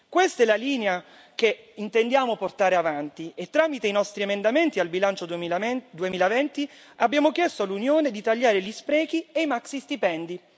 Questa è la linea che intendiamo portare avanti e tramite i nostri emendamenti al bilancio 2020 abbiamo chiesto all'Unione di tagliare gli sprechi e i maxi stipendi.